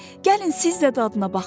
Gəlin siz də dadına baxın!